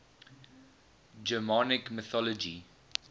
germanic mythology